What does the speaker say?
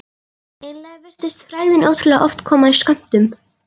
Eiginlega virtist frægðin ótrúlega oft koma í skömmtum.